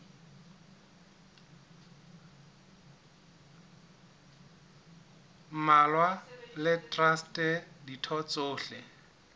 mmalwa le traste ditho tsohle